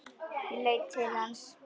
Ég leit til lands.